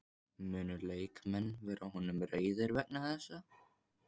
Munu leikmenn vera honum reiðir vegna þessa?